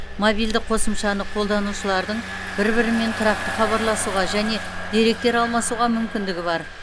мобильді қосымшаны қолданушылардың бір бірімен тұрақты хабарласуға және деректер алмасуға мүмкіндігі бар